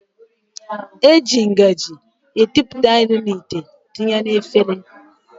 E ji ngaji ekupụta nri n'ite etinye na efere